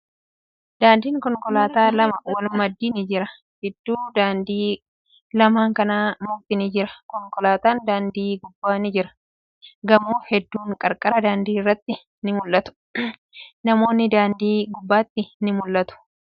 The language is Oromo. Daandiin konkolaataa lama wal maddii ni jira. Gidduu dandii lamaan kanaa mukti ni jira. Konkolaatan daandii gubbaa ni jiru. Gamoo hedduun qarqara daandii irratti ni mul'atu. Namootni daandii gubbatti ni mul'atu.